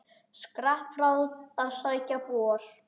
Skrapp frá að sækja bor.